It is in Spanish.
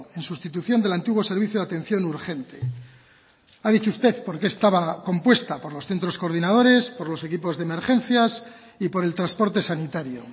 en sustitución del antiguo servicio de atención urgente ha dicho usted por qué estaba compuesta por los centros coordinadores por los equipos de emergencias y por el transporte sanitario